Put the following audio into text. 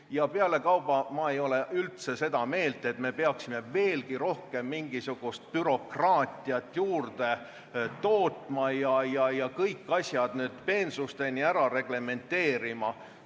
Ja pealekauba ma ei ole üldse seda meelt, et me peaksime veelgi rohkem mingisugust bürokraatiat juurde tootma ja kõik asjad peensusteni ära reglementeerima.